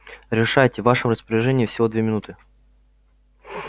решайте в вашем распоряжении всего две минуты